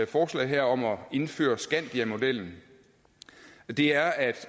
forslag her om at indføre skandiamodellen det er at